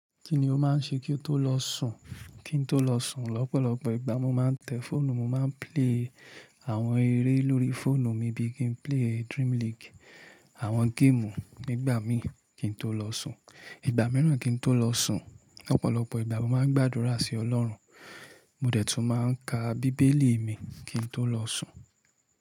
Kíni ó máa ń ṣe kí n tó lọ sùn? Kí n tó lọ sùn, lọ́pọ̀lọpọ̀ ìgbà mo máa ń tẹ̀ fóònù, mo máa ń play àwọn eré lórí fóònù mi bí i kí n play Dream League, àwọn game nígbà mí kí n tó lọ sùn. Ìgbà mìíràn kí n tó lọ sùn, lọ́pọ̀lọpọ̀ ìgbà mo máa ń gbàdúrà sí Ọlọ́run, mo dẹ̀ tún máa ń ka bíbélì mi kí n tó lọ sùn.